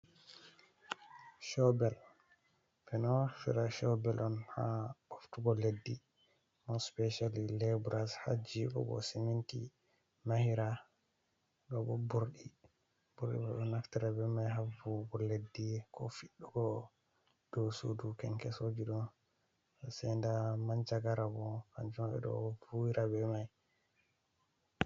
Coobel ɓe ɗo nafira çoobel on haa ɓoftugo leddi, mo special leebura haa jiiɓugo siminti mahira. Ɗoo boo burɗi, burrɗi boo ɓe ɗo naftira bee mai haa vuuwugo leddi koo fiɗɗugo dow suudu kenkesooji ɗo. Sai ndaa manjagara boo kanjum ɓe do vuuwira be mai.